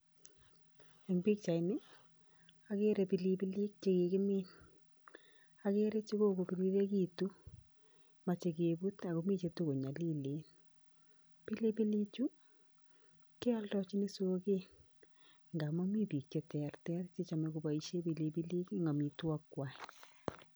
Eng pichaini, akere pilipilik chekikimin, akere chekokopirirekitu, moche keput akomi chetakonyolilen. Pilipilichu, kealdochin soket ngamun mi biik cheterter chechome koboishe pilipilik eng amitwakikwa.